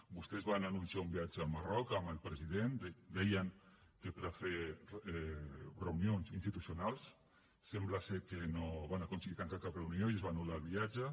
vostès van anunciar un viatge al marroc amb el president deien que per a fer reunions institucionals sembla ser que no van aconseguir tancar cap reunió i es va anul·lar el viatge